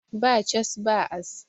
Ba cas, ba as